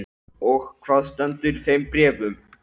Og hvað stendur í þeim bréfum?